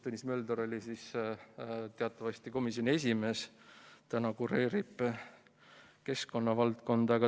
Tõnis Mölder oli siis teatavasti komisjoni esimees, praegu kureerib ta keskkonnavaldkonda.